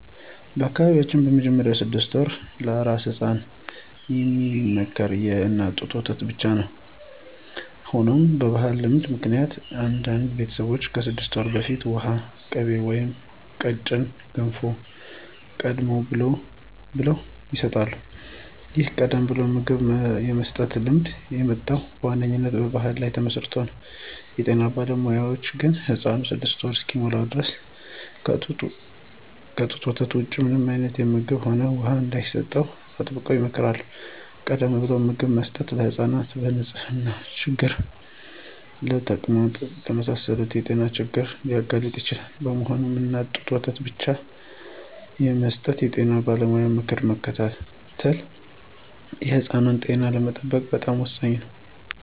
በአካባቢዬ በመጀመሪያዎቹ ስድስት ወራት ለአራስ ሕፃናት የሚመከረው የእናት ጡት ወተት ብቻ ነው። ሆኖም በባሕላዊ ልማድ ምክንያት አንዳንድ ቤተሰቦች ከስድስት ወር በፊት ውሃ፣ ቅቤ ወይም ቀጭን ገንፎ ቀደም ብለው ይሰጣሉ። ይህን ቀደም ብሎ ምግብ የመስጠት ልማድ የመጣው በዋነኛነት በባሕል ላይ ተመስርቶ ነው። የጤና ባለሙያዎች ግን ሕፃኑ ስድስት ወር እስኪሞላው ድረስ ከጡት ወተት ውጪ ምንም አይነት ምግብም ሆነ ውሃ እንዳይሰጥ አጥብቀው ይመክራሉ። ቀደም ብሎ ምግብ መስጠት ሕፃናትን በንጽህና ችግር ምክንያት ለተቅማጥ የመሳሰሉ የጤና ችግሮች ሊያጋልጥ ይችላል። በመሆኑም፣ የእናት ጡት ወተት ብቻ የመስጠት የጤና ባለሙያዎችን ምክር መከተል የሕፃኑን ጤና ለመጠበቅ በጣም ወሳኝ ነው።